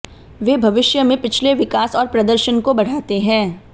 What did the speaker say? वे भविष्य में पिछले विकास और प्रदर्शन को बढ़ाते हैं